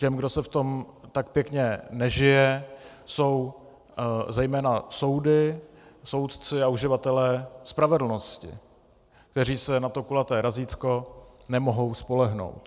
Těmi, komu se v tom tak pěkně nežije, jsou zejména soudy, soudci a uživatelé spravedlnosti, kteří se na to kulaté razítko nemohou spolehnout.